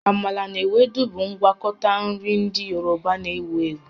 Amala na Ewedu bụ ngwakọta nri ndị Yoruba na-ewu ewu